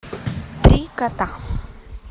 три кота